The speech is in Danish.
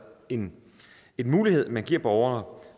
en mulighed man giver borgere